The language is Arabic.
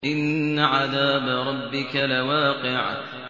إِنَّ عَذَابَ رَبِّكَ لَوَاقِعٌ